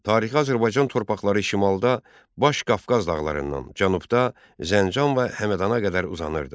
Tarixi Azərbaycan torpaqları şimalda Baş Qafqaz dağlarından, cənubda Zəncan və Həmədana qədər uzanırdı.